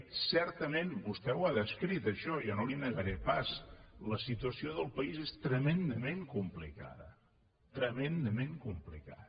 certament vostè ho ha descrit això jo no li ho negaré pas la situació del país és tremendament complicada tremendament complicada